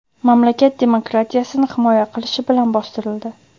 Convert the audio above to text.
mamlakat demokratiyasini himoya qilishi bilan bostirildi.